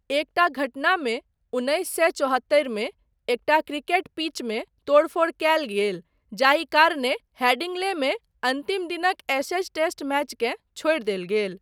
एकटा घटनामे उन्नैस सए चौहत्तरिमे एकटा क्रिकेट पिचमे तोड़फोड़ कयल गेल जाहि कारणेँ हेडिंग्लेमे अन्तिम दिनक एशेज टेस्ट मैचकेँ छोड़ि देल गेल।